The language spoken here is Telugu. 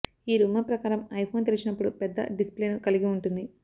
ఈ రూమర్ ప్రకారం ఐఫోన్ తెరిచినప్పుడు పెద్ద డిస్ప్లేను కలిగి ఉంటుంది